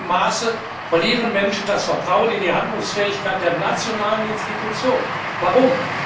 In zunehmendem Maße verlieren Menschen das Vertrauen in die Handlungsfähigkeit der nationalen Institutionen. Warum?